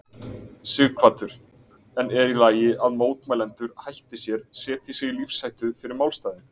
Sighvatur: En er í lagi að mótmælendur hætti sér, setji sig í lífshættu fyrir málstaðinn?